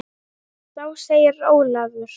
Þá segir Ólafur